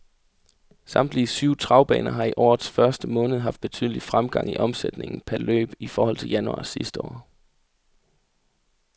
Samtlige syv travbaner har i årets første måned haft betydelig fremgang i omsætningen per løb i forhold til januar sidste år.